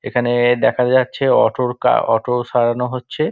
এখানে দেখা যাচ্ছে অটো -র কা অটো সারানো হচ্ছে |